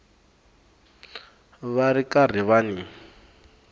va ri karhi va n